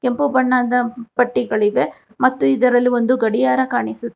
ಕೆಂಪು ಬಣ್ಣದ ಪಟ್ಟಿಗಳಿವೆ ಮತ್ತು ಇದರಲ್ಲಿ ಒಂದು ಗಡಿಯಾರ ಕಾಣಿಸುತ್ತಿದೆ.